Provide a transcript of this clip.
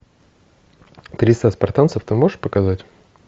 триста спартанцев ты можешь показать